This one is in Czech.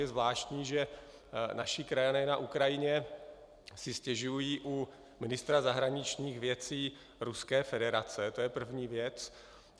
Je zvláštní, že naši krajané na Ukrajině si stěžují u ministra zahraničních věcí Ruské federace, to je první věc.